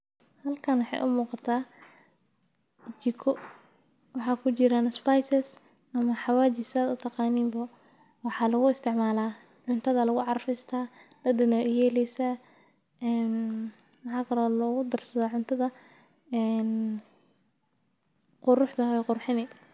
Xalkan umugata jikoo, waxa kujiran spices, ama xawaji saad utagaanin bo waxa laguisticmala, cuntada lagucarfista dadan ayay uyeleysaa, een maxa kalo logudarsada cuntada, een quruxda way qurxunii.